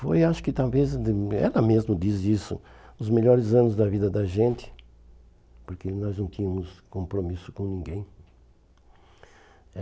Foi acho que talvez, ela mesma diz isso, os melhores anos da vida da gente, porque nós não tínhamos compromisso com ninguém. Eh